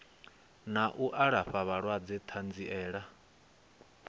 na u alafha vhalwadze ṱanziela